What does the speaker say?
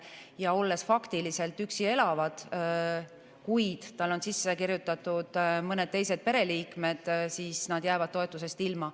Inimene, kes faktiliselt üksi elab, kuid tal on sisse kirjutatud mõned teised pereliikmed, jääb toetusest ilma.